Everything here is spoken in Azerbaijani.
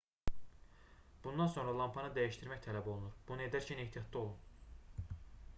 bundan sonra lampanı dəyişdirmək tələb olunur bunu edərkən ehtiyatlı olun